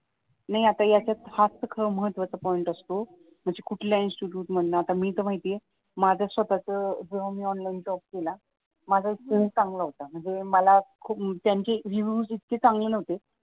नाही आता यांच्यात हाच तर खरा महत्वाचा पॉईंट असतो म्हणजे कुठल्या इन्स्टिट्यूट मधनं म्हणजे मी तर माहिते आहे माझं स्वतःच जेव्हा मी ऑनलाईन जॉब केला माझा चांगला होता म्हणजे मला खूप, म्हणजे त्यांचे रेव्हिव्यूज इतके चांगले न्हवते